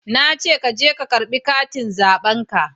Na ce ka je ka karba katin zaben ka